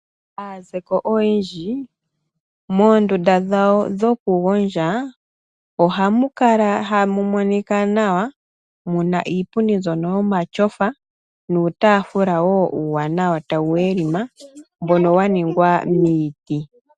Aazeko oyendji, moondunda dhawo dhokugondja ohamu kala tamu monika nawa, muna iipundi mbyono yomatyofa, nuutaafula wo uuwanawa tawu welima, mbono waningwa niiti.